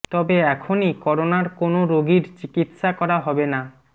তবে এখনই করোনার কোনও রোগীর চিকিৎসা করা হবে না